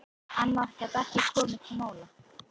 Annað gat ekki komið til mála.